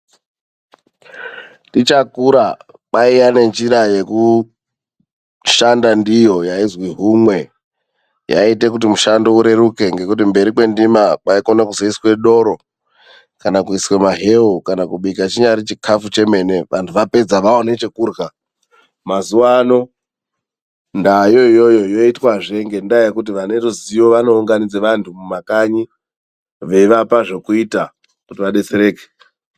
Tichakura kwaiya nenjira yekushanda ndiyo yaizwi humwe. Yaiita kuti mushando ureruke ngekuti mberi kwendima kwaikone kuzoiswa doro kana kuiswe mahewu, kana kubika chinyari chikafu chemene vanthu vapedza vaone chekurya. Mazuwa ano ndaayo iyoyo yoitwazve ngendaa yekuti vane ruzivo vanounganidza vanthu mumakanyi, veivapa zvekuita kuti vadetsereke.